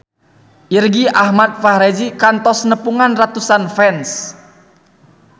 Irgi Ahmad Fahrezi kantos nepungan ratusan fans